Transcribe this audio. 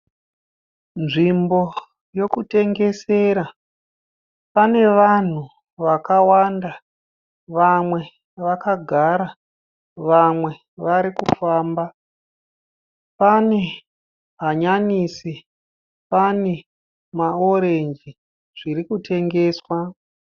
Nzvimbo yokutengesera pane vanhu vakawanda. Vamwe vakagara vamwe varikufamba. Pane hanyanisi pane maorenji zviri kutengeswa.